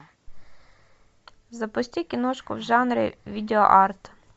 запусти киношку в жанре видео арт